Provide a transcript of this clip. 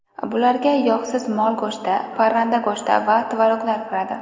Bularga yog‘siz mol go‘shti, parranda go‘shti va tvoroglar kiradi.